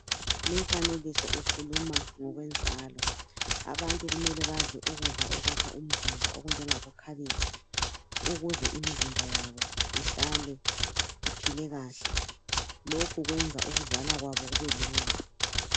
Lumfanekiso ukhuluma ngokwenzalo, abantu kumele badle ukudla okwakha umzimba okunjengabo khabitshi ukuze imizimba yabo ihlale iphile kahle. Lokhu kwenza ukuzala kwabo kubelula.